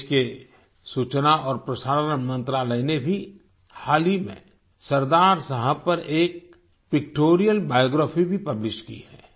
देश के सूचना और प्रसारण मंत्रालय ने भी हाल ही में सरदार साहब पर एक पिक्टोरियल बायोग्राफी भी पब्लिश की है